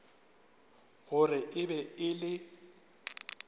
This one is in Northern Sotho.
gore e be e le